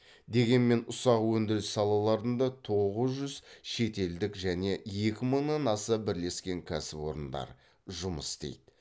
дегенмен ұсақ өндіріс салаларында тоғыз жүз шетелдік және екі мыңнан аса бірлескен кәсіпорындар жұмыс істейді